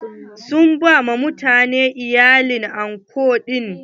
Sun ba mutanen iyali kawai anko ɗin.